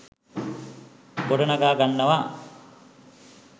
ගොඩනගා ගන්නවා